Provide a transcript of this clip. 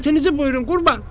“Şərtinizi buyurun, Qurban!”